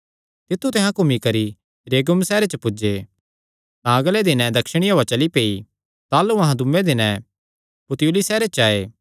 तित्थु ते अहां घूमी करी रेगियुम सैहरे च पुज्जे तां अगले दिने दक्षिणी हौआ चली पेई ताह़लू अहां दूये दिने पुतियुली सैहरे च आये